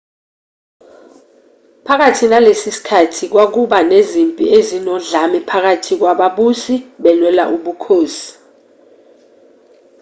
phakathi nalesi sikhathi kwakuba nezimpi ezinodlame phakathi kwababusi belwela ubukhosi